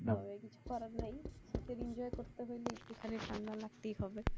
কিছু করার নাই শীতের enjoy করতে গেলে একটুখানি ঠান্ডা লাগতেই হবে।